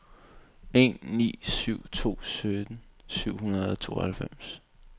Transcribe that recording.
en ni syv to sytten syv hundrede og tooghalvfems